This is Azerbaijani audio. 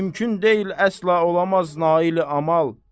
Mümkün deyil, əsla olamaz naili əməl.